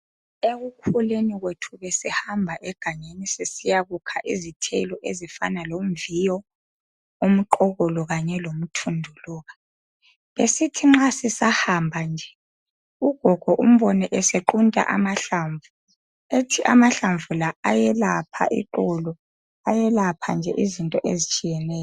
Sihamba egangeni sisiyakukha izithelo ezifana lomviyo umqokolo kanye lomthunduluka besisithi nxa sisahambe nje ugogo umbone esequnta amahlamvu ethi amahlamvu la ayelapha iqolo eyelapha nje izinto ezitshiyeneyo.